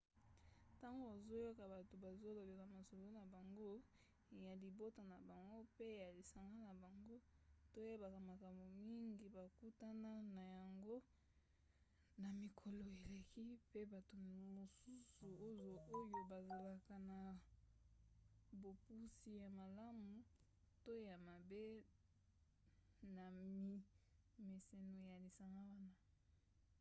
ntango ozoyoka bato bazolobela masolo na bango ya libota na bango mpe ya lisanga na bango toyebaka makambo mingi bakutana na yango na mikolo eleki mpe bato mosusu oyo bazalaka na bopusi ya malamu to ya mabe na mimeseno ya lisanga wana